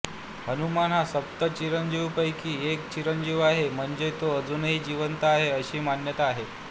हनुमान हा सप्त चिरंजीवांपैकी एक चिरंजीव आहे म्हणजे तो अजूनही जिवंत आहे अशी मान्यता आहे